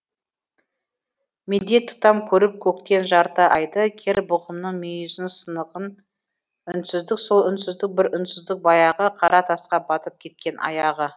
медет тұтам көріп көктен жарты айды кер бұғымның мұйізінің сынығын үнсіздік сол үнсіздік бір үнсіздік баяғы қара тасқа батып кеткен аяғы